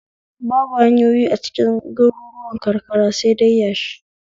Babu hanyoyi acikin garuruwan karkara sai dai yashi